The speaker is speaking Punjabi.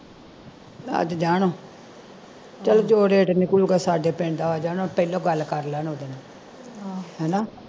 ਅੱਜ ਜਾਣ ਚਲ ਤੇ ਨਿਕਲੁਗਾ ਸਾਡੇ ਪਿੰਡ ਆ ਜਾਣਾ ਪਹਿਲੋਂ ਗੱਲ ਕਰ ਲੈਣ ਓਹਦੇ ਨਾਲ ਹਣਾ